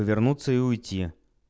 повернуться и уйти